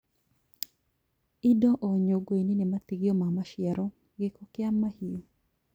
Indo o nyũngũ -inĩ nĩ matigio ma maciaro, gĩko kĩa mahiũ